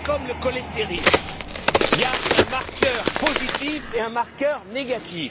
C'est comme le cholestéryl, il y a un marqueur positif et un marqueur négatif.